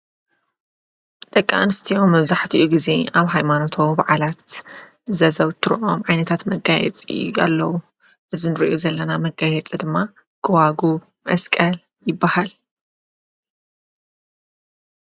ደቂ ኣንስትዮ መብዛሕቲኡ ጊዜ ኣብ ሃይማኖታዉ በዓላት ዘዘውትረኦም ዓይነታት መጋይጽታት ኣለዉ ፡፡እዚ ንሪኦ ዘለና መጋየፂ ድማ ግዋጉብ፣ መስቀል ይበሃል፡፡